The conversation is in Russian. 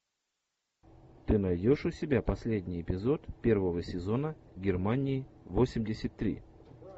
ты найдешь у себя последний эпизод первого сезона германии восемьдесят три